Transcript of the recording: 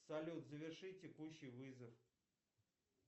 салют заверши текущий вызов